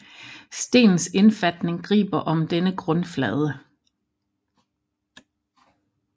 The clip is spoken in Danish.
Stenens indfatning griber om denne grundflade